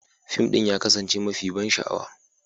Fim ɗin ya kasance mafi ban sha'awa.